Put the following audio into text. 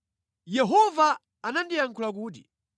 Yehova anandiyankhula kuti: